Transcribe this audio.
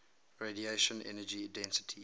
radiation energy density